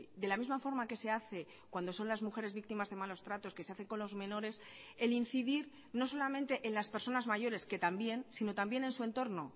de la misma forma que se hace cuando son las mujeres víctimas de malos tratos que se hace con los menores el incidir no solamente en las personas mayores que también sino también en su entorno